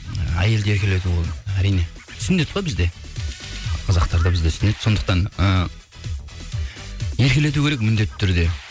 ы әйелді еркелету ол әрине сүннет қой бізде қазақтарда бізде сүннет сондықтан ы еркелету керек міндетті түрде